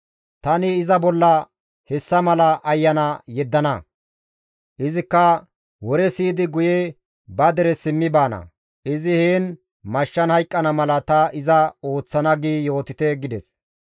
Tani iza bolla hessa mala ayana yeddana; izikka wore siyidi guye ba dere simmi baana; izi heen mashshan hayqqana mala ta iza ooththana› gi yootite» gides.